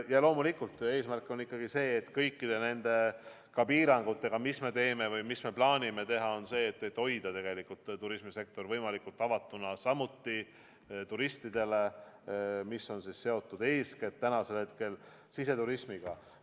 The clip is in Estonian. Ja loomulikult eesmärk on ikkagi see, et kõikide nende piirangutega, mis me teeme või mida me plaanime teha, hoida turismisektor võimalikult avatuna turistidele, mis on tänasel hetkel seotud eeskätt siseturismiga.